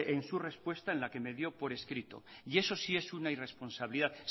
en su respuesta en la que me dio por escrito y eso sí es una irresponsabilidad